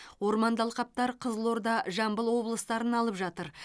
орманды алқаптар қызылорда жамбыл облыстарын алып жатыр